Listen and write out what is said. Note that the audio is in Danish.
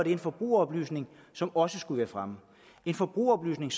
en forbrugeroplysning som også skulle være fremme den forbrugeroplysning